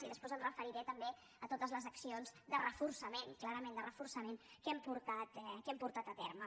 i després em referiré també a totes les accions de reforçament clarament de reforçament que hem portat a terme